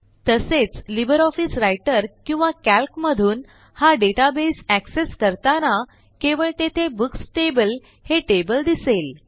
तसेच LibreOffice Writer किंवा Calcमधून हा डेटाबेस accessकरताना केवळ तेथे बुक्स टेबल हे टेबल दिसेल